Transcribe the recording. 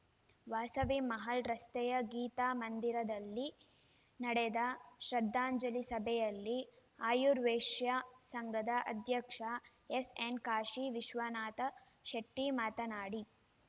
ವಾಸವಿ ಮಹಲ್‌ ರಸ್ತೆಯ ಗೀತಾ ಮಂದಿರದಲ್ಲಿ ನಡೆದ ಶ್ರದ್ಧಾಂಜಲಿ ಸಭೆಯಲ್ಲಿ ಆರ್ಯವೈಶ್ಯ ಸಂಘದ ಅಧ್ಯಕ್ಷ ಎಸ್‌ಎನ್‌ ಕಾಶಿ ವಿಶ್ವನಾಥ ಶೆಟ್ಟಿಮಾತನಾಡಿ